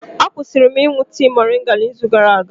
Akwụsịrị m ịṅụ tii moringa n'izu gara aga.